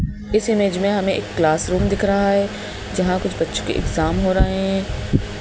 इस इमेज में हमें एक क्लास रूम दिख रहा है जहां कुछ बच्चों के एग्जाम हो रहे हैं।